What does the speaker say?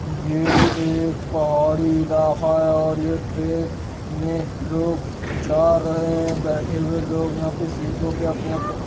ये एक पहाड़ी इलाका है और ये ट्रेन में लोग जा रहे हैं बैठे हुए लोग यहाँ पे सीटों पे अपने अपने --